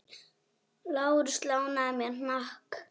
Lárus lánaði mér hnakk.